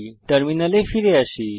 টার্মিনালে ফিরে আসি